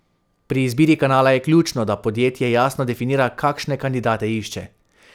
Pri izbiri kanala je ključno, da podjetje jasno definira, kakšne kandidate išče.